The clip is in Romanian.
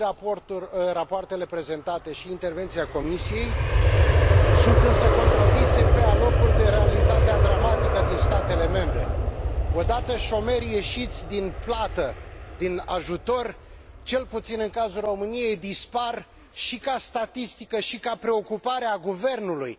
Și rapoartele prezentate, și intervenția Comisiei sunt însă contrazise, pe alocuri, de realitatea dramatică din statele membre. Odată șomerii ieșiți din plată, din ajutor, cel puțin în cazul României, dispar și ca statistică, și ca preocupare a guvernului.